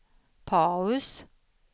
paus